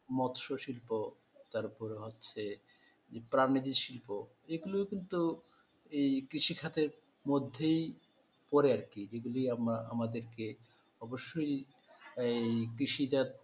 মৎস্য শিল্প তারপর হচ্ছে যে শিল্প এগুলো কিন্তু এই কৃষি খাতের মধ্যেই পড়ে আর কি যেগুলি আমারা আমাদেরকে অবশ্যই এই কৃষি জাত,